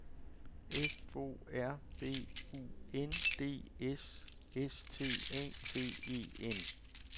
F O R B U N D S S T A T E N